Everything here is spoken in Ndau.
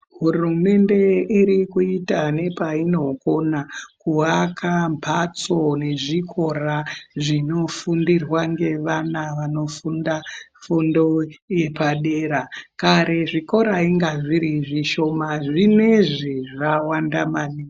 Hurumende irikuita nepainokona kuwaka mphatso nezvikora zvinofundirwa ngevana vanofunda fundo yepadera. Kare zvikora inga zviri zvishoma zvinezvi zvawanda maningi.